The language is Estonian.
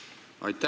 Aitäh!